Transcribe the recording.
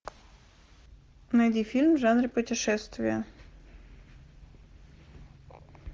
найди фильм в жанре путешествия